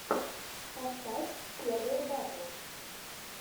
поставь первые батл